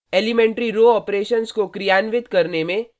elementary row operations को क्रियान्वित करने में